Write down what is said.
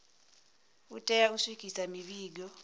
u tea u swikisa mivhigo